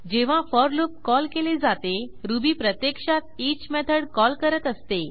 जेव्हा for loop call केले जाते रुबी प्रत्यक्षात ईच मेथड कॉल करत असते